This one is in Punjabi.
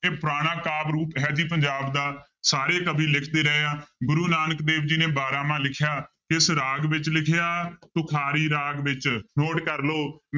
ਇਹ ਪੁਰਾਣਾ ਕਾਵਿ ਰੂਪ ਹੈ ਜੀ ਪੰਜਾਬ ਦਾ ਸਾਰੇ ਕਵੀ ਲਿਖ ਵੀ ਰਹੇ ਆ, ਗੁਰੂ ਨਾਨਕ ਦੇਵ ਜੀ ਨੇ ਬਾਰਾਂਮਾਂਹ ਲਿਖਿਆ ਕਿਸ ਰਾਗ ਵਿੱਚ ਲਿਖਿਆ ਤੁਖਾਰੀ ਰਾਗ ਵਿੱਚ note ਕਰ ਲਓ